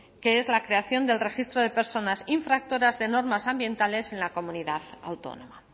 que es la creación del registro de personas infractoras de normas ambientales en la comunidad autónoma